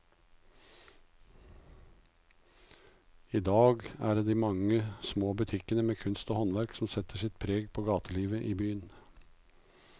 I dag er det de mange små butikkene med kunst og håndverk som setter sitt preg på gatelivet i byen.